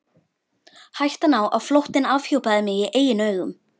Hættan á að flóttinn afhjúpaði mig í eigin augum.